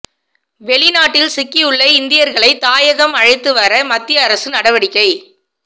வெளிநாட்டில் சிக்கியுள்ள இந்தியர்களை தாயகம் அழைத்து வர மத்திய அரசு நடவடிக்கை